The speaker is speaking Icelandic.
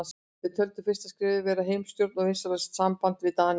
Þeir töldu fyrsta skrefið vera heimastjórn og vinsamlegt samband við Dani.